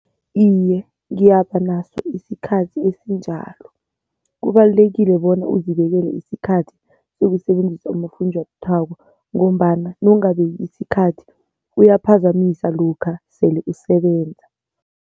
Iye, ngiyaba naso isikhathi esinjalo. Kubalulekile bona uzibekele isikhathi sokusebenzisa unofunjathwako ngombana nowungabeki isikhathi uyaphazamisa lokha sele usebenza.